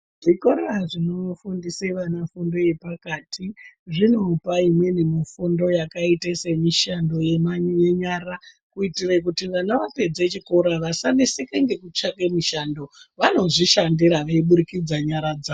Zvikora zvinofundise vana fundo yepakati zvinopa imweni mufundo yakaita semishando yemanyara kuitire kuti vana vapedze chikora vasaneseke ngekutsvake mishando. Vanozvishandira veiburikidza nyara dza...